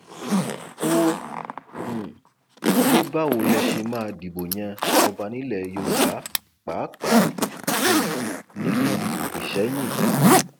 ó um ní báwo lẹ ṣe máa dìbò yan ọba nílẹ yorùbá pàápàá um nílùú isẹyìn